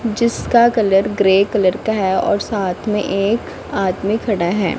जिसका colour grey colour का है और साथ में एक आदमी खड़ा है।